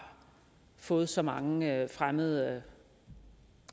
fået så mange fremmede